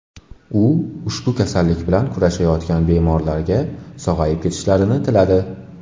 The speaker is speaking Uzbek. U ushbu kasallik bilan kurashayotgan bemorlarga sog‘ayib ketishlarini tiladi.